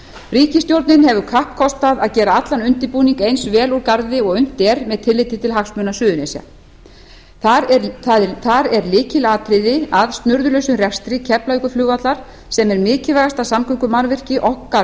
ríkisstjórnin hefur kappkostað að gera alla undirbúning eins vel úr garði og unnt er með tilliti til hagsmuna suðurnesja þar er lykilatriði að snurðulausum rekstri keflavíkurflugvallar sem er mikilvægasta samgöngumannvirki okkar